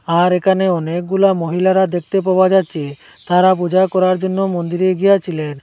আর এখানে অনেকগুলা মহিলারা দেখতে পাওয়া যাচ্ছে তারা পূজা করার জন্য মন্দিরে গিয়াছিলেন।